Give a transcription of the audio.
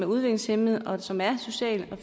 udviklingshæmmede og som er socialt og